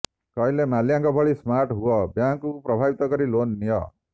କହିଲେ ମାଲ୍ୟାଙ୍କ ଭଳି ସ୍ମାର୍ଟ ହୁଅ ବ୍ୟାଙ୍କକୁ ପ୍ରଭାବିତ କରି ଲୋନ୍ ନିଅ